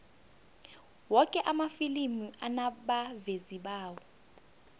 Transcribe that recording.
woke amafilimi anabavezi bawo